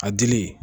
A dili